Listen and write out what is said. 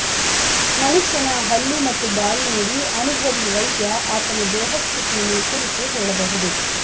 ಮನುಷ್ಯನ ಹಲ್ಲು ಮತ್ತು ಬಾಯಿ ನೋಡಿ ಅನುಭವಿ ವೈದ್ಯ ಆತನ ದೇಹ ಸ್ಥಿತಿಯನ್ನು ಕುರಿತು ಹೇಳಬಹುದು